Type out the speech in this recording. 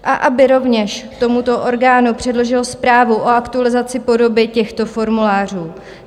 A aby rovněž tomuto orgánu předložil zprávu o aktualizaci podoby těchto formulářů.